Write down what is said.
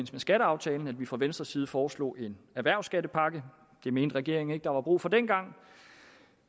skatteaftalen at vi fra venstres side foreslog en erhvervsskattepakke det mente regeringen ikke der var brug for dengang